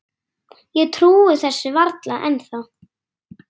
Ég trúi þessu varla ennþá.